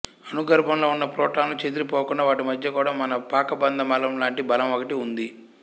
అణుగర్భంలో ఉన్న ప్రోటానులు చెదిరి పోకుండా వాటి మధ్య కూడా మన పాకబంధ బలం లాంటి బలం ఒకటి ఉంది